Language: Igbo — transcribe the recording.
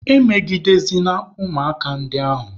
Emegidezịna ụmụaka a ndị ahụ!